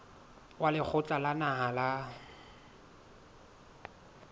wa lekgotla la naha la